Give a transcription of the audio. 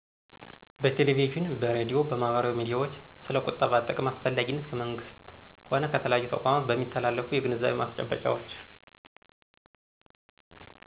በቴሌቪዥን፤ በሬድዮ፤ በማህበራዊ ሚዲያዎች ስለ ቁጠባ ጥቅም አስፈላጊነት ከመንግሥት ሆነ ከተለያዩ ተቋማት በሚተላለፉ የግንዛቤ ማስጨበጫዎች።